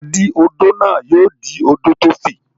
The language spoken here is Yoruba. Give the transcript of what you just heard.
Adí-odó náà yóò dí odò tó fi.